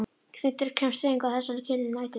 Skyndilega kemst hreyfing á þessa kyrru næturmynd.